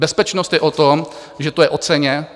Bezpečnost je o tom, že to je o ceně.